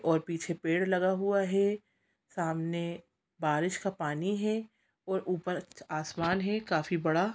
और पीछे पेड़ लगा हुआ है सामने बारिश का पानी है और ऊपर आसमान है काफी बड़ा--